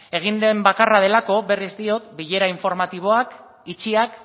egin den bakarra delako berriz diot bilera informatiboak itxiak